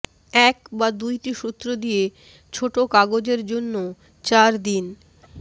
এক বা দুইটি সূত্র দিয়ে ছোট কাগজের জন্য চার দিন